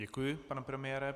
Děkuji, pane premiére.